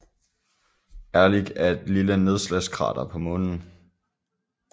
Ehrlich er et lille nedslagskrater på Månen